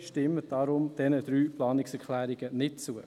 Stimmen Sie daher bitte diesen drei Planungserklärungen nicht zu.